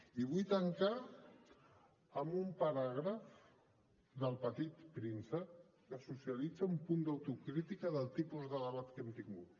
i vull tancar amb un paràgraf d’el petit príncep que socialitza un punt d’autocrítica del tipus de debat que hem tingut